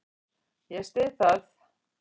Ég styð það.